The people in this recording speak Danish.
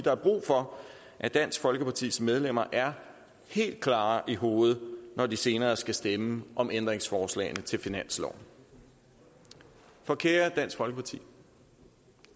er brug for at dansk folkepartis medlemmer er helt klare i hovedet når de senere skal stemme om ændringsforslagene til finansloven for kære dansk folkeparti